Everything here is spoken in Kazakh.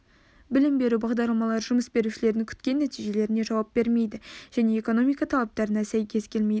білім беру бағдарламалары жұмыс берушілердің күткен нәтижелеріне жауап бермейді және экономика талаптарына сәйкес келмейді